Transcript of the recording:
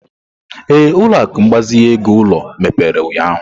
Ee, ụlọ akụ ịgbazinye ego ulo mepere ụnyahụ.